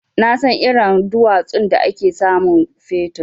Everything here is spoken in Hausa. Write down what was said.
Nasan irin duwatsun da ake samun fetur.